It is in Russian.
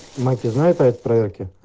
маки знаю ты проверки